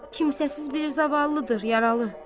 Kimsəsiz bir zavallıdır yaralı.